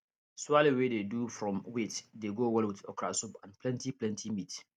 swallow wey dey do from wheat dey go well with okra soup and plenty plenty meat